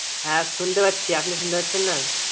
হ্যা শুনতে পারছি, আপনি শুনতে পারছেন না?